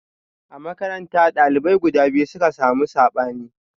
A makaranta, dalibai guda biyu suka samu sabani.